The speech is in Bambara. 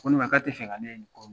Ko ne ma k'a tɛ fɛ ka ne ye nin kɔ